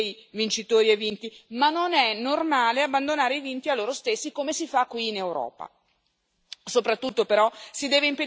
Perché è normale che il commercio crei vincitori e vinti, ma non è normale abbandonare i vinti a loro stessi, come si fa qui in Europa.